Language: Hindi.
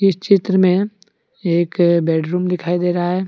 इस चित्र मे एक बेडरूम दिखाई दे रहा है।